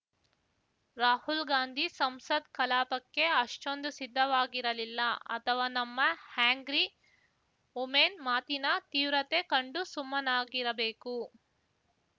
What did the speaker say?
ರಾಹುಲ್‌ ಗಾಂಧಿ ಸಂಸತ್‌ ಕಲಾಪಕ್ಕೆ ಅಷ್ಟೊಂದು ಸಿದ್ಧವಾಗಿರಲಿಲ್ಲ ಅಥವಾ ನಮ್ಮ ಆ್ಯಂಗ್ರಿ ವುಮೆನ್‌ ಮಾತಿನ ತೀವ್ರತೆ ಕಂಡು ಸುಮ್ಮನಾಗಿರಬೇಕು